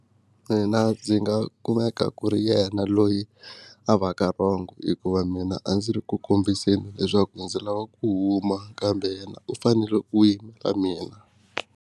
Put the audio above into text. Mina ndzi nga kumeka ku ri yena loyi a va ka rhongo, hikuva mina a ndzi ri ku kombiseni leswaku ndzi lava ku huma kambe yena u fanele a yimela mina.